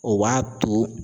O b'a to